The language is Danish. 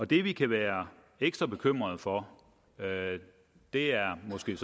det vi kan være ekstra bekymrede for er måske